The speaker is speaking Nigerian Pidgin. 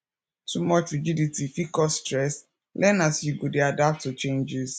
too much rigidity fit cause stress learn as you go dey adapt to changes